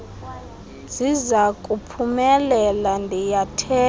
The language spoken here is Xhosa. sizaku phumelela ndiyathemba